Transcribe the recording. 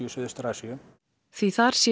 Suðaustur Asíu því þar sé